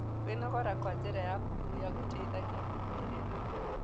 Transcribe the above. Kwĩnogora na njĩra ya kũhũhĩa gũteĩthagĩa kũhorera